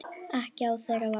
Ekki á þeirra vakt.